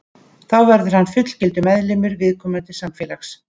Þá verður hann fullgildur meðlimur viðkomandi samfélags.